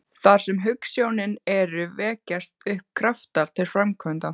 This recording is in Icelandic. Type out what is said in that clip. Þar sem hugsjónir eru, vekjast upp kraftar til framkvæmda.